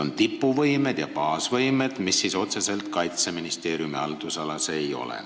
" On tipuvõimed ja baasvõimed, mis otseselt Kaitseministeeriumi haldusalas ei ole.